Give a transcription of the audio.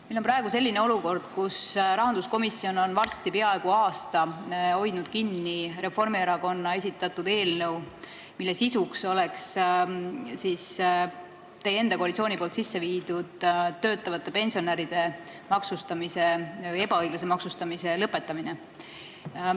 Meil on praegu selline olukord, kus rahanduskomisjon on varsti peaaegu aasta aega hoidnud kinni Reformierakonna esitatud eelnõu, mille eesmärk on teie koalitsiooni kehtestatud töötavate pensionäride ebaõiglase maksustamise lõpetamine.